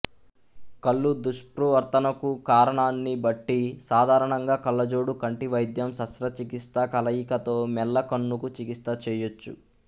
కళ్ళు దుష్ప్రవర్తనకు కారణాన్ని బట్టి సాధారణంగా కళ్ళజోడు కంటి వైద్యం శస్త్రచికిత్స కలయికతో మెల్లకన్నుకు చికిత్స చేయొచ్చు